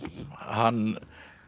hann